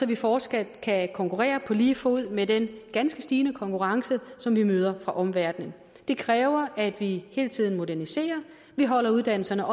vi fortsat kan konkurrere på lige fod med den ganske stigende konkurrence som vi møder fra omverdenen det kræver at vi hele tiden moderniserer at vi holder uddannelserne